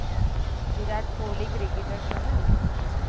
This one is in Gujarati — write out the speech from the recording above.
વિરાટ કોહલી cricketer જેને